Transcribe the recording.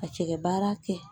Ka cɛkɛ baara kɛ